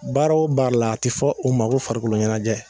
Baaraw b'a la a ti fɔ o ma ko farikoloɲɛnajɛ